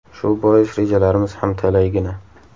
Shu bois rejalarimiz ham talaygina.